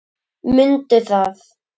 Mundu það.